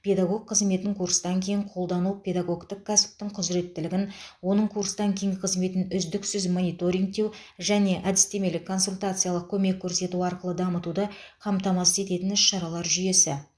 педагог қызметін курстан кейін қолдау педагогтің кәсіптік құзыреттілігін оның курстан кейінгі қызметін үздіксіз мониторингтеу және әдістемелік консультациялық көмек көрсету арқылы дамытуды қамтамасыз ететін іс шаралар жүйесі